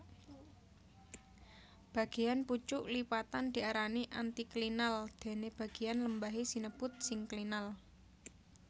Bagéyan pucuk lipatan diarani antiklinal déné bagéyan lembahé sinebut sinklinal